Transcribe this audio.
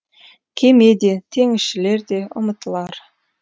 кеме де теңізшілер де ұмытылар